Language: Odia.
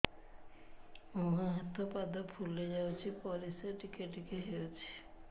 ମୁହଁ ହାତ ପାଦ ଫୁଲି ଯାଉଛି ପରିସ୍ରା ଟିକେ ଟିକେ ହଉଛି